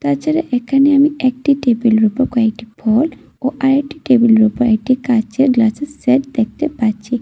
তাছাড়া এখানে আমি একটি টেবিলের উপর কয়েকটি ফল ও আরেকটি টেবিলের উপর একটি কাঁচের গ্লাসের সেট দেখতে পাচ্ছি।